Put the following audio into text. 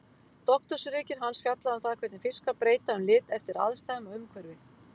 Doktorsritgerð hans fjallaði um það hvernig fiskar breyta um lit eftir aðstæðum og umhverfi.